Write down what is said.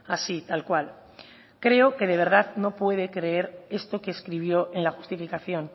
así tal cual creo que de verdad no puede creer esto que escribió en la justificación